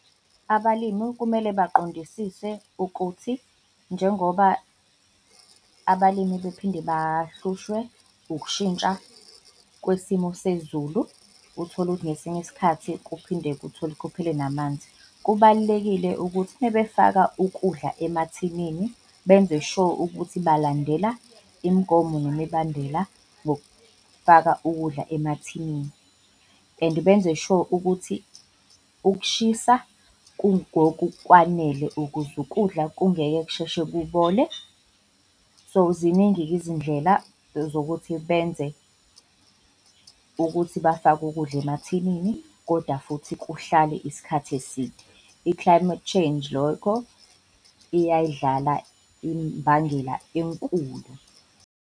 Abalimu kumele baqondisise ukuthi njengoba abalimi bephinde bahlushwe ukushintsha kwisimo sezulu, uthole ukuthi ngesinye isikhathi kuphinde kuthole, kuphele namanzi. Kubalulekile ukuthi mebefaka ukudla emathinini, benze sure ukuthi balandela imigomo nemibandela ngokufaka ukudla emathinini and benze sure ukuthi ukushisa kungokukwanele ukuze ukudla kungeke kusheshe kubole. So, ziningi-ke izindlela zokuthi benze ukuthi bafake ukudla emathinini, koda futhi kuhlale isikhathi eside. I-climate change, lokho iyayidlala imbangela enkulu.